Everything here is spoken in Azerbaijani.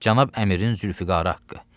Cənab Əmirin Zülfüqarı haqqı.